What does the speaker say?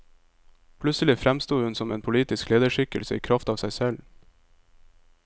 Plutselig fremsto hun som en politisk lederskikkelse i kraft av seg selv.